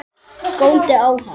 Góndi á hann.